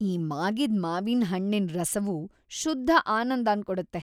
ಈ ಮಾಗಿದ್ ಮಾವಿನ್ ಹಣ್ಣಿನ್ ರಸವು ಶುದ್ಧ ಆನಂದನ್ ಕೊಡುತ್ತೆ.